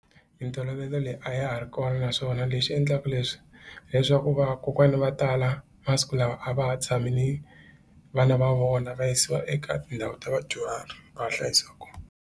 Mintolovelo leyi a ya ha ri kona naswona lexi endlaka leswi leswaku vakokwana va tala masiku lawa a va ha tshameli vana va vona va yisiwa eka tindhawu ta vadyuhari va hlayisiwa kona.